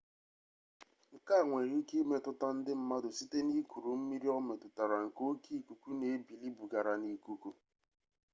nke a nwere ike imetụta ndị mmadụ site n'ikuru mmiri o metụtara nke oke ikuku na ebili bugara n'ikuku